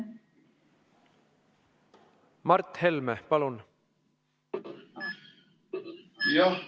Mart Helme, palun!